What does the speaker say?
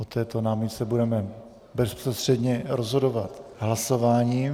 O této námitce budeme bezprostředně rozhodovat hlasováním.